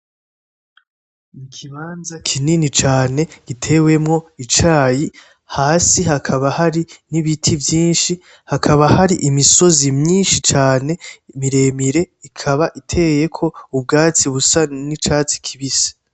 Ikibanza kinini cane gitewemwo icayi, hasi hakaba hari n’ibiti vyinshi, hakaba hari imisozi myinshi cane miremire ikaba iteyeko ubwatsi busa n’icatsi kibisi.